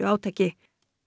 átaki